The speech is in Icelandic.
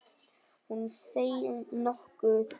Hún seig nokkuð í.